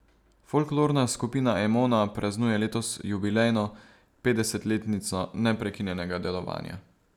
Folklorna skupina Emona praznuje letos jubilejno, petdesetletnico neprekinjenega delovanja.